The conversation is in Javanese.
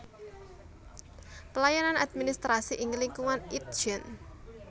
Pelayanan administrasi ing lingkungan Itjen